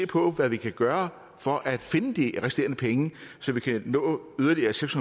på hvad vi kan gøre for at finde de resterende penge så vi kan nå yderligere seks